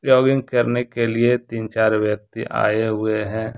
Jogging करने के लिए तीन चार व्यक्ति आए हुए हैं।